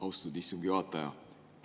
Austatud istungi juhataja!